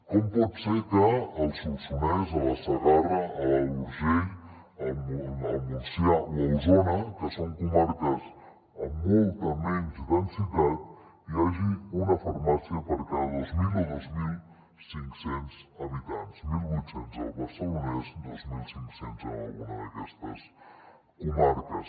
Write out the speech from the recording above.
com pot ser que al solsonès a la segarra a l’alt urgell al montsià o a osona que són comarques amb molta menys densitat hi hagi una farmàcia per cada dos mil o dos mil cinc cents habitants mil vuit cents al barcelonès dos mil cinc cents en alguna d’aquestes comarques